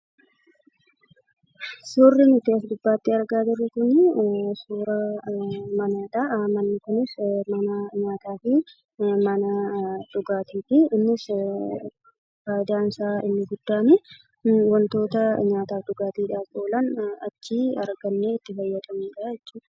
Suurri nuti as gubbaatti argaa jirru kunii suuraa manaadhaa. Manni kunis manaa nyaataatii. Mana dhugaatiitii. Innisii faayidaansaa inni guddaanii wantootaa nyaataf dhugaatiidhaaf oolan achii argannee itti fayyadamuudhaa jechuudha.